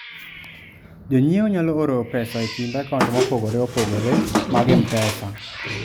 Jonyiewo nyalo oro pesa e kind akaunt mopogore opogore mag M-Pesa.